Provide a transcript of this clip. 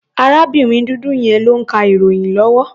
Arábìnrin dúdú yẹn ló ń ka ìròyìn lọ́wọ́.